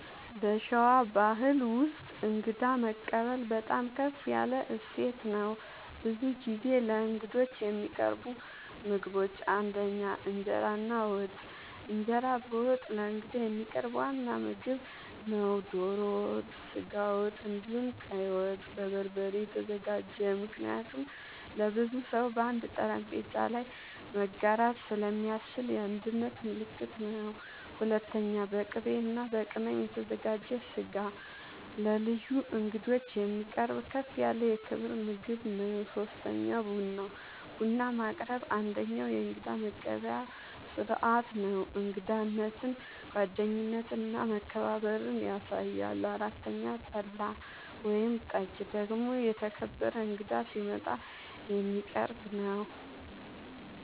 በሸዋ ባሕል ውስጥ እንግዳ መቀበል በጣም ከፍ ያለ እሴት ነው። ብዙ ጊዜ ለእንግዶች የሚቀርቡ ምግቦች ፩) እንጀራ እና ወጥ፦ እንጀራ በወጥ ለእንግዳ የሚቀርብ ዋና ምግብ ነው። ዶሮ ወጥ፣ ስጋ ወጥ፣ እንዲሁም ቀይ ወጥ( በበርበሬ የተዘጋጀ) ምክንያቱም ለብዙ ሰው በአንድ ጠረጴዛ ላይ መጋራት ስለሚያስችል የአንድነት ምልክት ነው። ፪.. በቅቤ እና በቅመም የተዘጋጀ ስጋ ለልዩ እንግዶች የሚቀርብ ከፍ ያለ የክብር ምግብ ነው። ፫. ቡና፦ ቡና ማቅረብ አንደኛዉ የእንግዳ መቀበያ ስርዓት ነው። እንግዳነትን፣ ጓደኝነትን እና መከባበርን ያሳያል። ፬ .ጠላ ወይም ጠጅ ደግሞ የተከበረ እንግዳ ሲመጣ የሚቀረብ ነዉ